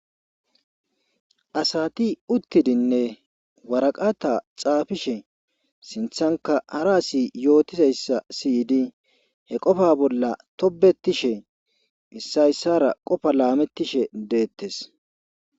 Asati uttidinne waraqata xaafishe sinthanka hara asi yootizayssa siydi he qofa bolla tobetishe missayssara qofa laamettishe deettes